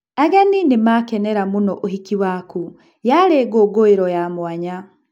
Ageni nĩ makenera mũno ũhiki waku, yarĩ ngũngũĩro ya mũanya.